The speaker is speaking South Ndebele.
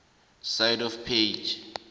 side of page